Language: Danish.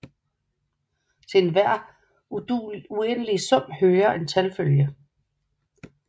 Til enhver uendelig sum hører en talfølge